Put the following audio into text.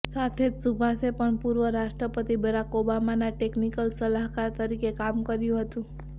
સાથે જ સુભાષે પણ પૂર્વ રાષ્ટ્રપતિ બરાક ઓબામાના ટેકનીકલ સલાહકાર તરીકે કામ કર્યું હતું